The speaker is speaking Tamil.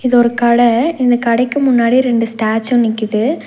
இது ஒரு கட இந்த கடைக்கு முன்னாடி ரெண்டு ஸ்டாச்சு நிக்குது.